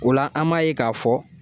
O la an m'a ye k'a fɔ